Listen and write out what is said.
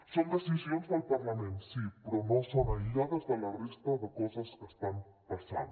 són decisions del parlament sí però no són aïllades de la resta de coses que estan passant